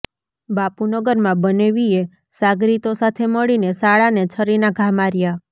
બાપુનગરમાં બનેવીએ સાગરીતો સાથે મળીને સાળાને છરીનાં ઘા માર્યા